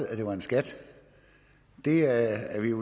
er en skat det er ikke